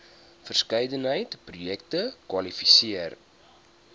verskeidenheid projekte kwalifiseer